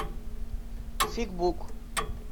фикбук